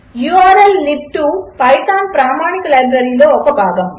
4 ఉర్ల్లిబ్2 పైథాన్ ప్రామాణిక లైబ్రరీలో ఒక భాగము